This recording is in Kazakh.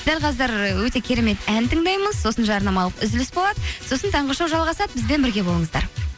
дәл қазір ы өте керемет ән тыңдаймыз сосын жарнамалық үзіліс болады сосын таңғы шоу жалғасады бізбен бірге болыңыздар